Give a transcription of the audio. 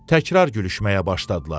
Təkrar gülüşməyə başladılar.